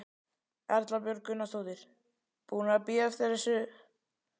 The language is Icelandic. Erla Björg Gunnarsdóttir: Búnir að bíða lengi eftir þessu?